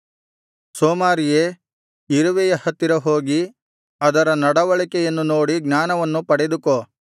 ಸೋಮಾರಿಯೇ ಇರುವೆಯ ಹತ್ತಿರ ಹೋಗಿ ಅದರ ನಡವಳಿಕೆಯನ್ನು ನೋಡಿ ಜ್ಞಾನವನ್ನು ಪಡೆದುಕೋ